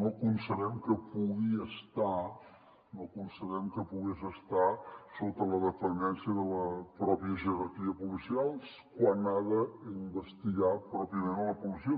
no concebem que pugui estar sota la dependència de la pròpia jerarquia policial quan ha d’investigar pròpiament la policia